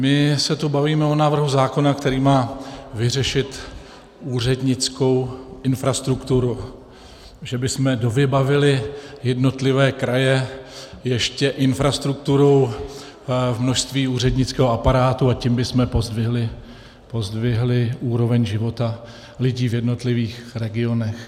My se tu bavíme o návrhu zákona, který má vyřešit úřednickou infrastrukturu, že bychom dovybavili jednotlivé kraje ještě infrastrukturou v množství úřednického aparátu, a tím bychom pozdvihli úroveň života lidí v jednotlivých regionech.